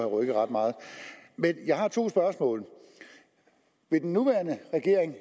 rykket ret meget men jeg har to spørgsmål vil den nuværende regering